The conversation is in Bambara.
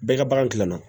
Bɛɛ ka bagan kilanan